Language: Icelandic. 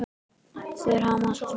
Þeir hamast.